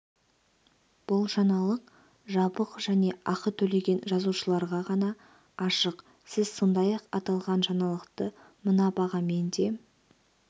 бұл жаңалық жабық және ақы төлеген жазылушыларға ғана ашық сіз сондай-ақ аталған жаңалықты мына бағамен де